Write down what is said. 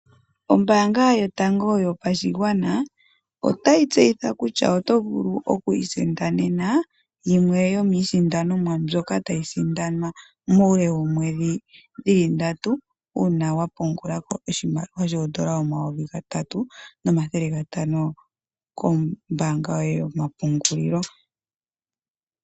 Ombaanga yotango yopashigwana, otayi tseyitha kutya oto vulu okwiisindanena, yimwe yomiisindanomwa, mbyoka tayi sindanwa muule woomwedhi dhili ndatu, uuna wapungulako oshimaliwa shoondola omayovi geli gatatu, nomathele gatano, kombaanga yote yomapungulilo.